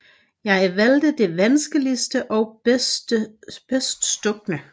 Jeg valgte det vanskeligste og bedst stukne